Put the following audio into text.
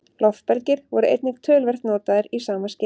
Loftbelgir voru einnig töluvert notaðir í sama skyni.